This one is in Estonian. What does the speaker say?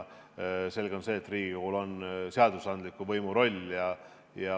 Selge on see, et Riigikogul on seadusandliku võimu roll.